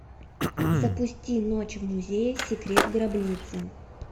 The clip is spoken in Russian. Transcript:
запусти ночь в музее секрет гробницы